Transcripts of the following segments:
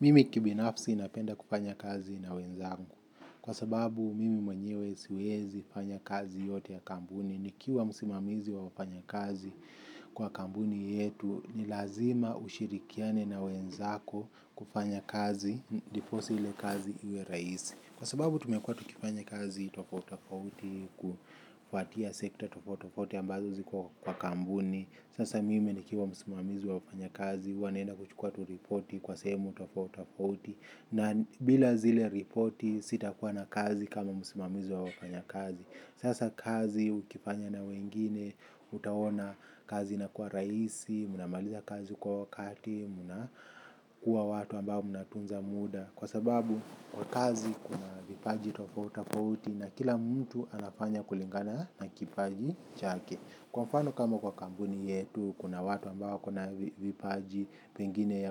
Mimi kibinafsi napenda kufanya kazi na wenzangu kwa sababu mimi mwenyewe siwezi fanya kazi yote ya kampuni nikiwa msimamizi wa wafanya kazi kwa kampuni yetu ni lazima ushirikiane na wenzako kufanya kazi ndiposa ile kazi iwe rahisi. Kwa sababu tumekua tukifanya kazi tofauti tofauti kufatia sekta tofauti tofauti ambazo ziko kwa kampuni. Sasa mimi nikiwa msimamizi wa wafanya kazi huwa naenda kuchukua tu ripoti kwa sehemu tofauti tofauti. Na bila zile ripoti sitakuwa na kazi kama msimamizi wa wafanya kazi. Sasa kazi ukifanya na wengine utaona kazi inakuwa raisi, mnamaliza kazi kwa wakati, mnakuwa watu ambao mnatunza muda. Kwa sababu kwa kazi kuna vipaji tofauti tofauti na kila mtu anafanya kulingana na kipaji chake. Kwa mfano kama kwa kampuni yetu kuna watu ambao wako na vipaji pengine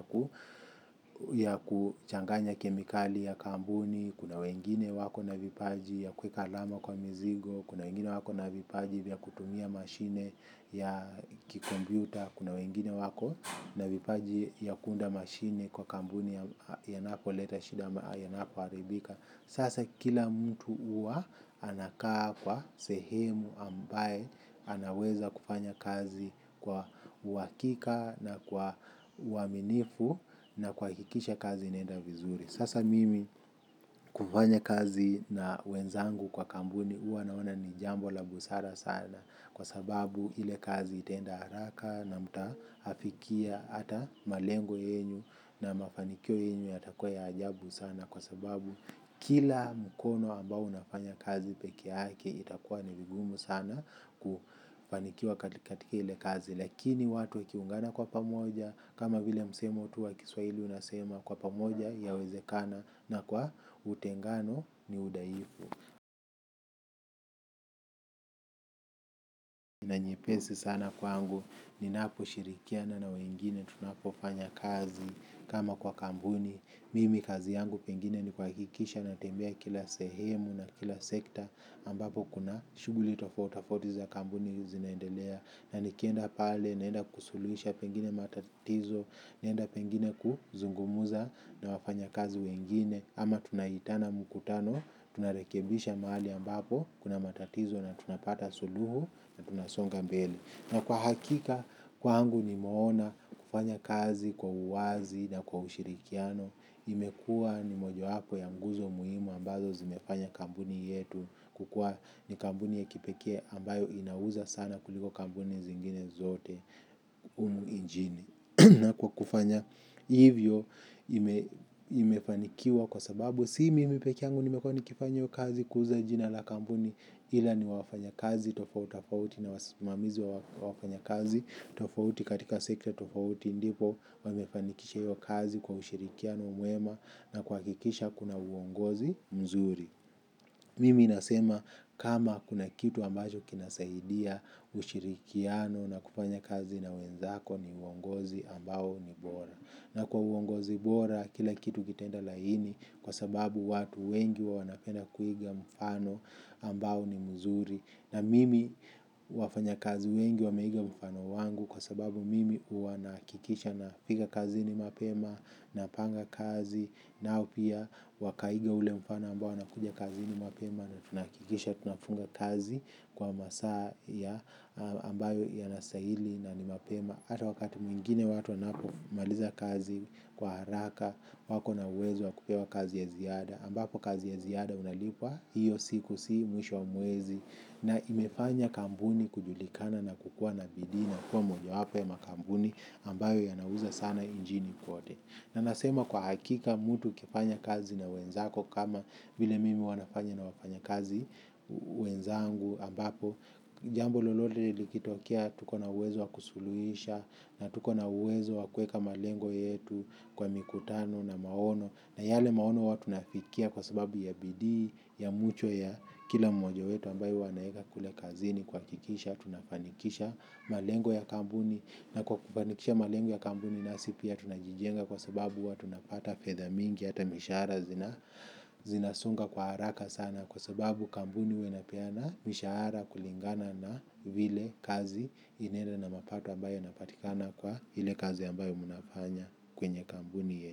ya kuchanganya kemikali ya kampuni. Kuna wengine wako na vipaji ya kuweka alama kwa mizigo. Kuna wengine wako na vipaji ya kutumia mashine ya kikompyuta. Kuna wengine wako na vipaji ya kuunda mashine kwa kampuni yanapo leta shida ama yanapo haribika. Sasa kila mtu huwa anakaa kwa sehemu ambaye anaweza kufanya kazi kwa uhakika na kwa uaminifu na kuhakikisha kazi inaenda vizuri. Sasa mimi kufanya kazi na wenzangu kwa kampuni huwa naona ni jambo la busara sana. Kwa sababu ile kazi itaenda haraka na mta afikia hata malengo yenyu na mafanikio yenyu yatakua ya ajabu sana. Kwa sababu kila mkono ambao unafanya kazi pekeyake itakua ni vigumu sana kufanikiwa katika ile kazi. Lakini watu wakiungana kwa pamoja kama vile msemo tu wa kiswaili unasema kwa pamoja yawezekana na kwa utengano ni udhaifu. Na nyepesi sana kwa kwangu, ninaposhirikiana na wengine, tunapofanya kazi kama kwa kampuni, mimi kazi yangu pengine ni kuhakikisha natembea kila sehemu na kila sekta ambapo kuna shuguli tofauti tofauti za kampuni zinaendelea, na nikienda pale, naenda kusuluhisha pengine matatizo, naenda pengine kuzungumza na wafanya kazi wengine, ama tunaitana mkutano, narekebisha mahali ambapo kuna matatizo na tunapata suluhu tunasonga mbele kwa hakika kwangu nimeona kufanya kazi kwa uwazi na kwa ushirikiano imekua ni moja wapo ya nguzo muhimu ambazo zimefanya kampuni yetu kukuwa ni kampuni ya kipekee ambayo inauza sana kuliko kampuni zingine zote humu injini. Na kwa kufanya hivyo imefanikiwa kwa sababu si mimi pekee yangu nimekuwa nikifanya hiyo kazi kuuza jina la kampuni ila ni wafanya kazi tofauti tofauti na wasimamizi wa wafanya kazi tofauti katika sekta tofauti ndipo wamefanikisha hiyo kazi kwa ushirikiano mwema na kwa kuhakikisha kuna uongozi mzuri. Mimi nasema kama kuna kitu ambacho kinasaidia ushirikiano na kufanya kazi na wenzako ni uongozi ambao ni bora. Na kwa uongozi bora kila kitu kitaenda laini kwa sababu watu wengi wanapenda kuiga mfano ambao ni mzuri na mimi wafanyakazi wengi wameiga mfano wangu kwa sababu mimi huwa nahakikisha nafika kazini mapema napanga kazi. Nao pia wakaiga ule mfano ambao nakuja kazini mapema na tunahakikisha tunafunga kazi kwa masaa ambayo yanastahili na ni mapema. Hata wakati mwingine watu wanapomaliza kazi kwa haraka wako na uwezo wa kupewa kazi ya ziada. Ambapo kazi ya ziada unalipwa hiyo siku si mwisho wa mwezi. Na imefanya kampuni kujulikana na kukuwa na bidii na kuwa mojawapo ya makampuni ambayo yanauza sana injini kote. Na nasema kwa hakika mtu ukifanya kazi na wenzako kama vile mimi huwa nafanya na wafanyakazi wenzangu ambapo jambo lolote likitokie tuko na uwezo wa kusuluhisha. Na tuko na uwezo wa kuweka malengo yetu kwa mikutano na maono na yale maono huwa tunafikia kwa sababu ya bidii ya mchwa ya kila mmoja yetu ambayo huwa anaeka kule kazini kuhakikisha tunafanikisha malengo ya kampuni na kwa kufanikisha malengo ya kampuni nasi pia tunajijenga kwa sababu huwa tunapata fedha mingi hata mishahara zinasonga kwa haraka sana kwa sababu kampuni huwa inapeana mishahara kulingana na vile kazi inaenda na mapato ambayo yanapatikana kwa ile kazi ambayo munafanya kwenye kampuni yenu.